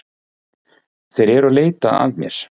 Þeir eru að leita að mér